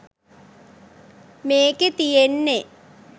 මේකේ තියෙන්නේ